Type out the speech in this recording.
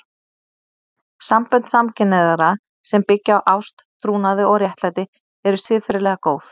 Sambönd samkynhneigðra sem byggja á ást, trúnaði og réttlæti eru siðferðilega góð.